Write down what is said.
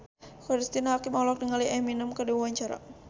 Cristine Hakim olohok ningali Eminem keur diwawancara